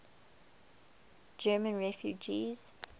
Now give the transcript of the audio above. german refugees